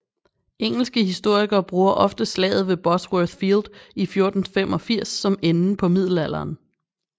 Engelske historikere bruger ofte slaget ved Bosworth Field i 1485 som enden på middelalderen